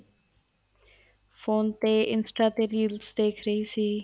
phone ਤੇ INSTA ਤੇ reels ਦੇਖ ਰਹੀ ਸੀ